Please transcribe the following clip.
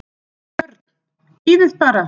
BJÖRN: Bíðið bara!